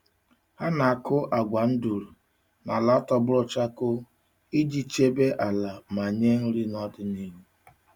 Ha na-akụ agwa nduru n’ala tọgbọrọ chakoo iji chebe ala ma nye nri n’ọdịnihu.